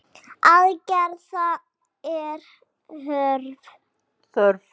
Aðgerða er þörf.